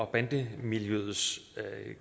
bande miljøets